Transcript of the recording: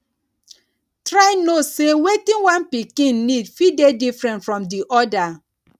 try know sey wetin one pikin need fit dey different from di oda